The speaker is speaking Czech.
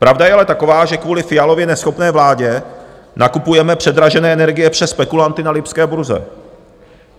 Pravda je ale taková, že kvůli Fialově neschopné vládě nakupujeme předražené energie přes spekulanty na lipské burze.